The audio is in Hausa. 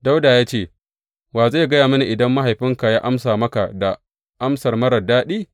Dawuda ya ce, Wa zai gaya mini idan mahaifinka ya amsa maka da amsa marar daɗi?